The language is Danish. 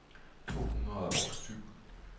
to hundrede og syv